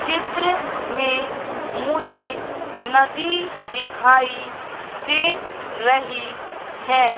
चित्र में मुझे नदी दिखाई दे रही है।